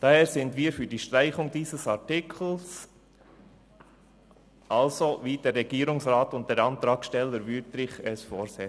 Daher sind wir für die Streichung dieses Artikels, so wie es der Regierungsrat und der Antragssteller Wüthrich vorsehen.